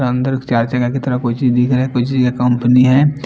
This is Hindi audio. इसके अंदर की तरफ कोई चीज दिख रहा है कोई चीज कंपनी है।